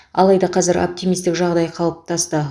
алайда қазір оптимистік жағдай қалыптасты